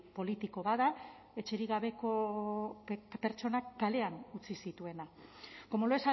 politiko bat da etxerik gabeko pertsonak kalean utzi zituena como lo